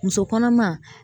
Muso kɔnɔma